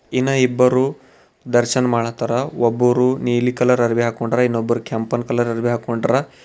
ಇನ್ನ ಇಬ್ಬರೂ ದರ್ಶನ್ ಮಾಡತ್ತರ ಒಬ್ಬರು ನೀಲಿ ಕಲರ್ ಅರ್ವಿ ಹಾಕೊಂಡರ ಇನ್ನೊಬ್ಬರು ಕೆಂಪನ್ ಕಲರ್ ಅರ್ವಿ ಹಾಕೊಂಡರ.